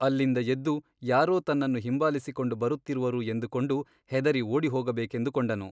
ಅಲ್ಲಿಂದ ಎದ್ದು ಯಾರೋ ತನ್ನನ್ನು ಹಿಂಬಾಲಿಸಿಕೊಂಡು ಬರುತ್ತಿರುವರು ಎಂದುಕೊಂಡು ಹೆದರಿ ಓಡಿಹೋಗಬೇಕೆಂದುಕೊಂಡನು.